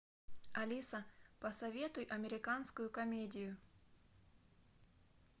алиса посоветуй американскую комедию